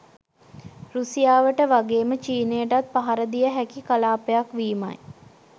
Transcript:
රැසියාවට වගේම චීනයටත් පහර දිය හැකි කලාපයක් වීමයි.